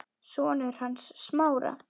Sonur hans Smára.